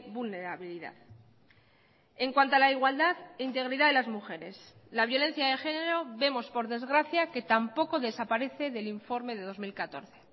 vulnerabilidad en cuanto a la igualdad e integridad de las mujeres la violencia de género vemos por desgracia que tampoco desaparece del informe de dos mil catorce